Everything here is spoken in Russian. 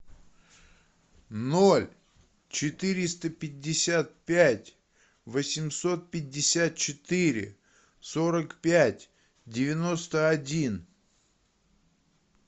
ноль четыреста пятьдесят пять восемьсот пятьдесят четыре сорок пять девяносто один